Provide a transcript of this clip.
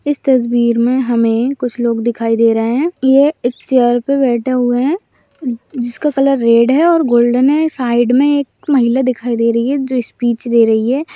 इस तस्वीर में हमें कुछ लोग दिखाई दे रहें हैं ये एक चेयर पर बैठे हुए हैं जिस का कलर रेड है और गोल्डन है साइड में एक महिला दिखाई दे रही है जो स्पीच दे रही है।